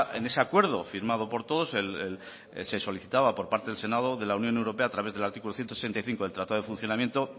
en ese acuerdo firmado por todos se solicitaba por parte del senado de la unión europea a través del artículo ciento sesenta y cinco del tratado de funcionamiento